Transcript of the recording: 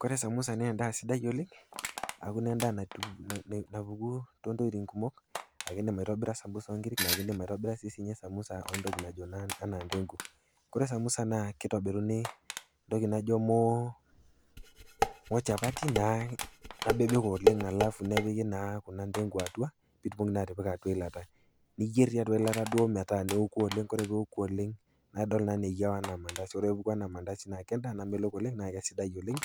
Kore samosa naa endaa sidai oleng' aaku naa endaa napuku toontokitin kumok aaku indim aitobira samosa o nkiri nake indim aitobira sii samosa entoki naji ndengu ore samosa naa keitobiruni entoki najo mochapati nabebek oleng' halafu nepiki naa ndengu atua pitumoki naa atipika atua eilata, niyerr naa tiatua eilata metaa neoku oleng'. Ore peoku oleng' nidol naa anaa eyiau anaa mandasi. Ore peepuku anaa mandasi naa kendaa namelok oleng' naa kesidai oleng'